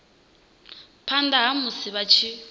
phanda ha musi vha tshi